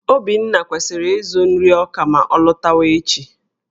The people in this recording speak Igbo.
Obinna kwesịrị ịzụ nri ọka ma ọ lọtawa echi